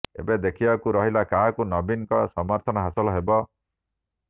ଏବେ ଦେଖିବାକୁ ରହିଲା କାହାକୁ ନବୀନଙ୍କ ସମର୍ଥନ ହାସଲ ହେବ